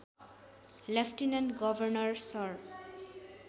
lieutenant governor sir